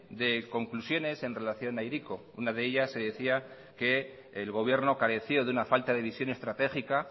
de conclusiones en relación a hiriko una de ellas se decía que el gobierno careció de una falta de visión estratégica